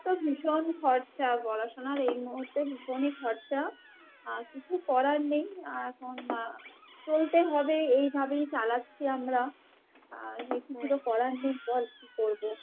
ভীষণ খরচা, পড়াশুনার এই মুহূর্তে ভীষণই খরচা আহ কিছু করার নেই আহ এখন আহ চলতে হবে এইভাবেই চালাচ্ছি আমরা। আহ কিছু তো করার নেই বল কি করবো ?